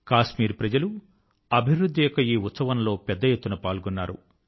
కశ్మీర్ ప్రజలు అభివృద్ధి యొక్క ఈ ఉత్సవం లో పెద్ద ఎత్తున పాల్గొన్నారు